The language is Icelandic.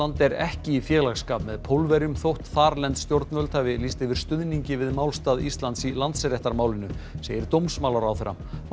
er ekki í félagsskap með Pólverjum þótt þarlend stjórnvöld hafi lýst yfir stuðningi við málstað Íslands í Landsréttarmálinu segir dómsmálaráðherra málið